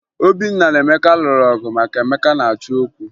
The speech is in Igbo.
Obinna na Emeka lụrụ ọgụ maka na Emeka na-achọ okwu